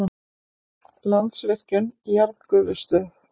Landsvirkjun- jarðgufustöð.